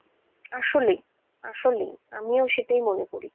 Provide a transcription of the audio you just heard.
আসলেই আসলেই আমিও সেটাই মনে করি,